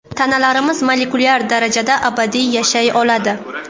Tanalarimiz molekulyar darajada abadiy yashay oladi.